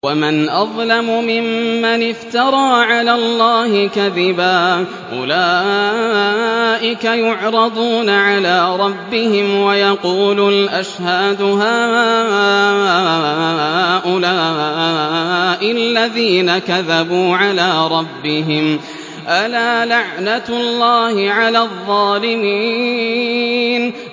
وَمَنْ أَظْلَمُ مِمَّنِ افْتَرَىٰ عَلَى اللَّهِ كَذِبًا ۚ أُولَٰئِكَ يُعْرَضُونَ عَلَىٰ رَبِّهِمْ وَيَقُولُ الْأَشْهَادُ هَٰؤُلَاءِ الَّذِينَ كَذَبُوا عَلَىٰ رَبِّهِمْ ۚ أَلَا لَعْنَةُ اللَّهِ عَلَى الظَّالِمِينَ